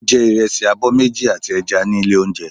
Ó jẹ ìrẹsì abọ́ méjì àti ẹja ní ilé oúnjẹ.